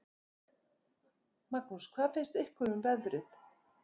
Magnús: Hvað finnst ykkur um veðrið?